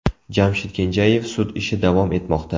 Jamshid Kenjayev sud ishi davom etmoqda.